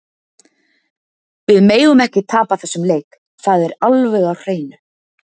Við megum ekki tapa þessum leik, það er alveg á hreinu.